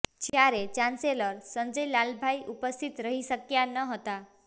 જ્યારે ચાન્સેલર સંજય લાલભાઇ ઉપસ્થિત રહી શક્યા નહોતા